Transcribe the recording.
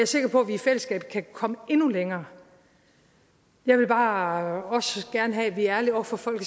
sikker på at vi i fællesskab kan komme endnu længere jeg vil bare også gerne have at vi er ærlige over for folk